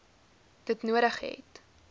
dit nodig het